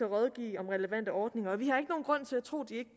at rådgive om relevante ordninger og vi